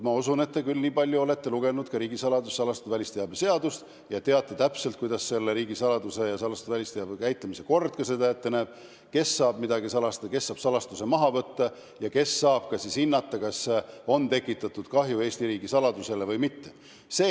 Ma usun, et te nii palju olete küll lugenud ka riigisaladuse ja salastatud välisteabe seadust, et teate täpselt, mida riigisaladuse ja salastatud välisteabega käitumise kord ette näeb: kes saab midagi salastada, kes saab salastuse maha võtta ja kes saab ka hinnata, kas on Eesti riigisaladusele kahju tekitatud või mitte.